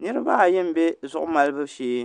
Niraba ayi n bɛ zuɣu malibu shee